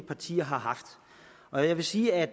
partier har haft og jeg vil sige at